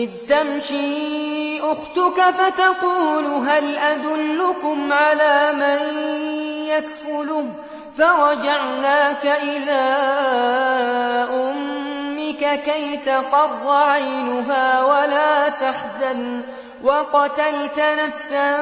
إِذْ تَمْشِي أُخْتُكَ فَتَقُولُ هَلْ أَدُلُّكُمْ عَلَىٰ مَن يَكْفُلُهُ ۖ فَرَجَعْنَاكَ إِلَىٰ أُمِّكَ كَيْ تَقَرَّ عَيْنُهَا وَلَا تَحْزَنَ ۚ وَقَتَلْتَ نَفْسًا